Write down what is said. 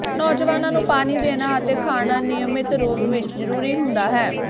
ਨੌਜਵਾਨਾਂ ਨੂੰ ਪਾਣੀ ਦੇਣਾ ਅਤੇ ਖਾਣਾ ਨਿਯਮਿਤ ਰੂਪ ਵਿੱਚ ਜ਼ਰੂਰੀ ਹੁੰਦਾ ਹੈ